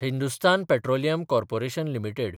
Hindustan petroleum corporation limited